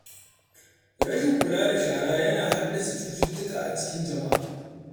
Rashin kula da shara yana haddasa cututtuka a cikin jama’a.